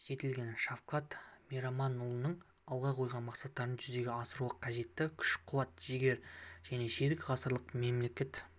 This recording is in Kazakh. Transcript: жетілген шавкат мираманұлына алға қойған мақсаттарын жүзеге асыруға қажетті күш-қуат жігер және ширек ғасырлық мемлекет